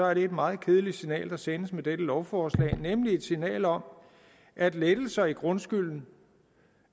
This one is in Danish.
er det et meget kedeligt signal der sendes med dette lovforslag nemlig et signal om at lettelser i grundskylden